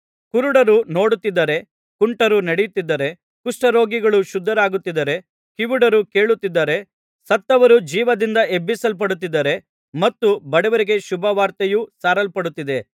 ಕುರುಡರು ನೋಡುತ್ತಿದ್ದಾರೆ ಕುಂಟರು ನಡೆಯುತ್ತಿದ್ದಾರೆ ಕುಷ್ಠರೋಗಿಗಳು ಶುದ್ಧರಾಗುತ್ತಿದ್ದಾರೆ ಕಿವುಡರು ಕೇಳುತ್ತಿದ್ದಾರೆ ಸತ್ತವರು ಜೀವದಿಂದ ಎಬ್ಬಿಸಲ್ಪಡುತ್ತಿದ್ದಾರೆ ಮತ್ತು ಬಡವರಿಗೆ ಸುವಾರ್ತೆಯು ಸಾರಲ್ಪಡುತ್ತಿದ್ದೆ